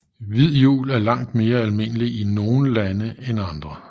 Hvid jul er langt mere almindeligt i nogle lande end andre